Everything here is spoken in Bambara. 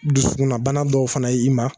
Dusunabana dɔw fana ye i ma